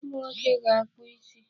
Ụmụnwoke ga-akpụ isi.